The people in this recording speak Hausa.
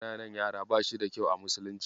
Dukan ƙananan yara ba shi da kyau a musulunci.